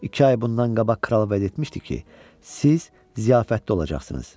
İki ay bundan qabaq kral vəd etmişdi ki, siz ziyarətdə olacaqsınız.